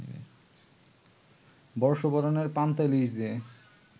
বর্ষবরণের পান্তা ইলিশ দিয়ে